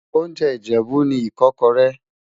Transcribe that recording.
oúnjẹ ìjèbú ní ikókóré